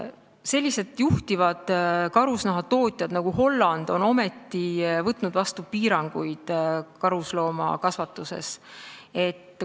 Sellised juhtivad karusnahatootmismaad nagu Holland on ometi võtnud vastu karusloomakasvatuse piiranguid.